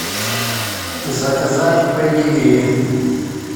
заказать педигри